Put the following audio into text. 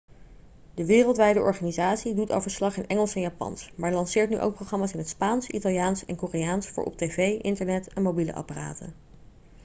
de wereldwijde organisatie doet al verslag in engels en japans maar lanceert nu ook programma's in het spaans italiaans en koreaans voor op tv internet en mobiele apparaten